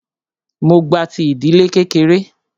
Mó gba ti ìdílé kékeré.